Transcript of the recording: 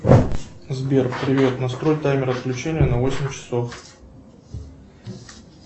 сбер привет настрой таймер отключения на восемь часов